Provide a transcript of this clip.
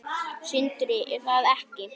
Sindri: Er það ekki?